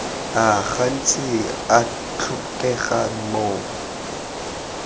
a gantsi a tlhokegang mo